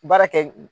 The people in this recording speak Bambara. Baara kɛ